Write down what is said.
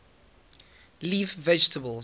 leaf vegetables